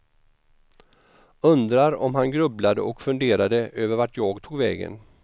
Undrar om han grubblade och funderade över vart jag tog vägen.